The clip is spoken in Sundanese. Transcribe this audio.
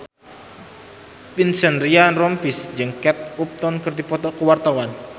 Vincent Ryan Rompies jeung Kate Upton keur dipoto ku wartawan